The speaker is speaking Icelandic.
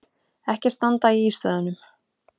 Ekki standa í ístöðunum!